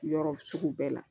Yɔrɔ sugu bɛɛ la